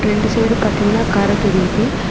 இந்த சைடு பாத்தீங்கனா கர தெரியுது.